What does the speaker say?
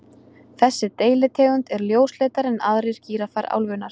Þessi deilitegund er ljósleitari en aðrir gíraffar álfunnar.